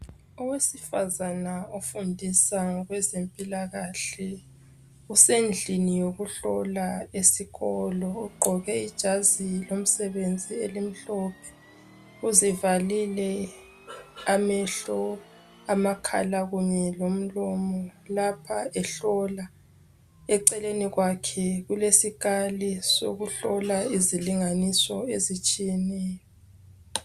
Owesifazane ofundisa ngokwezempilakahle. Usendlini yokuhlola esikolo. Ugqoke ijazi lomsebenzi, elimhlophe. Uzivalile amehlo, amakhala Kanye lomlomo, lapha ehlola. Eceleni kwake kulezikali zokuhlola ezilezilinganiso ezitshiyeneyo.